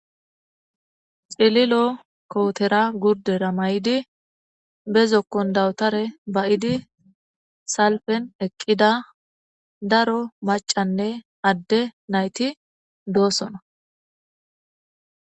Xililo kowotera gurde ramay,di bezokkon dawutare ba,idi salfen eqqida daro macanne adde nayti doosona.